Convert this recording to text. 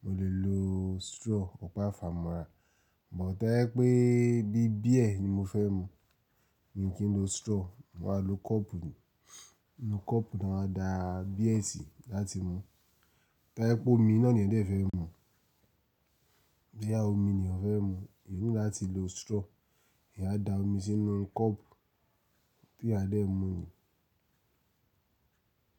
mo lè lè lo straw ọ̀pá ìfámúras. Bút to bá jẹ́ pé bí bẹẹlì ni mo fẹ mu ni kí n lo straw, mo á lo kọ́ọ̀pù, inú kọ́ọ̀pù náà da bẹẹlì sí láti mú. Tó bá jẹ́ pé omi náà leeyan fẹ́ mú, bí i omi ni ọ fẹ́ mú, yóò ní láti lo straw, yé á da omi sínú kọ́ọ̀pù bí a dé mú yẹn.